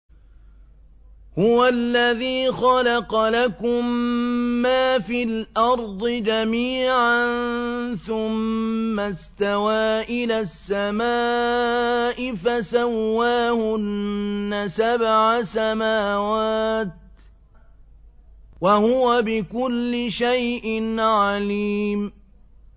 هُوَ الَّذِي خَلَقَ لَكُم مَّا فِي الْأَرْضِ جَمِيعًا ثُمَّ اسْتَوَىٰ إِلَى السَّمَاءِ فَسَوَّاهُنَّ سَبْعَ سَمَاوَاتٍ ۚ وَهُوَ بِكُلِّ شَيْءٍ عَلِيمٌ